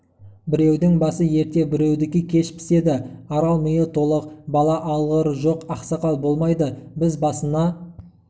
біреудің басы ерте біреудікі кеш піседі арал миы толық бала алғыр жоқ ақсақал болмайды біз басына